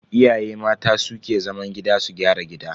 Iyaye mata su ke zaman gida su gyara gida.